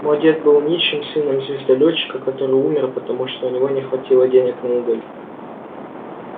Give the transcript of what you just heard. мой дед был нищим сыном звездолетчика который умер потому что у него не хватило денег на уголь